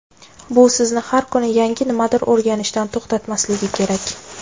bu sizni har kuni yangi nimadir o‘rganishdan to‘xtatmasligi kerak.